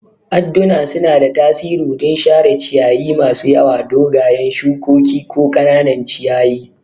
Adduna suna da tasiri don share ciyayi masu yawa, dogayen shukoki, ko ƙananan ciyayi.